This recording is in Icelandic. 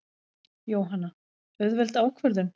Jóhanna: Auðveld ákvörðun?